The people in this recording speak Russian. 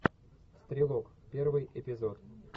стрелок первый эпизод